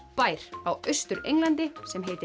bær á Austur Englandi sem heitir